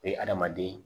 O ye hadamaden